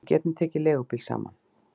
Við getum tekið leigubíl saman